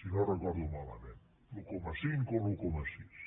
si no recordo malament l’un coma cinc o l’un coma sis